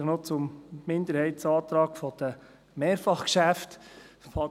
Vielleicht noch zum Minderheitsantrag der Mehrfachgeschäfte.